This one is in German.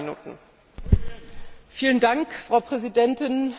Frau Präsidentin, meine sehr verehrten Damen und Herren!